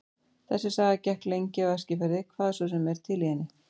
Þessi saga gekk lengi á Eskifirði, hvað svo sem er til í henni.